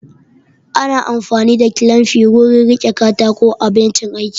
Ana amfani da kilamfi wurin riƙe katako a bencin aiki